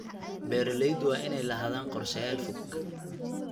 Beeralayda waa inay lahaadaan qorshayaal fog.